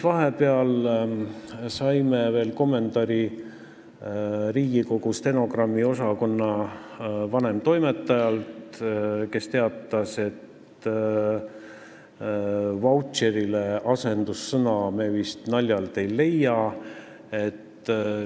Vahepeal saime kommentaari Riigikogu stenogrammiosakonna vanemtoimetajalt, kes teatas, et sõnale "vautšer" me vist naljalt asendussõna ei leia.